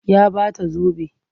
Ya ba ta zobe.